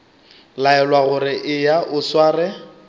laelwa gore eya o sware